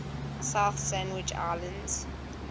south sandwich islands